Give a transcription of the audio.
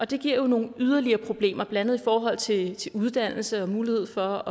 det giver jo nogle yderligere problemer blandt andet i forhold til uddannelse mulighed for